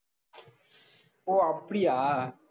ஓஹ் அப்படியா?